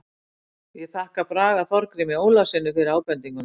Ég þakka Braga Þorgrími Ólafssyni fyrir ábendinguna.